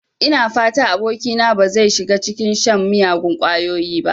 Ina fata abokina ba zai shiga cikin shan miyagun ƙwayoyi ba.